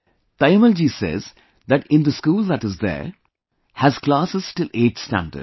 Taimmal ji says that in the school that is there has classes till 8th standard